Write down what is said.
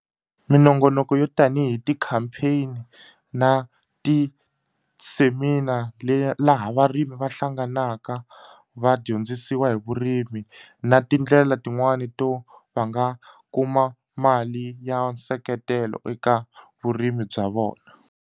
Minongonoko yo tanihi ti-campaign na ti-Seninar laha varimi va hlanganaka va dyondzisiwa hi vurimi na tindlela tin'wani to va nga kuma mali ya nseketelo eka vurimi bya vona.